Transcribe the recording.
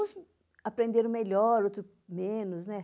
Uns aprenderam melhor, outros menos, né?